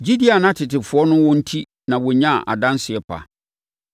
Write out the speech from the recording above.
Gyidie a na tetefoɔ no wɔ enti na wɔnyaa adanseɛ pa.